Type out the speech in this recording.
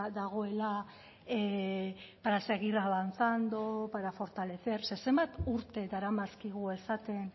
dagoela para seguir avanzando para fortalecer ze zenbat urte daramazkigu esaten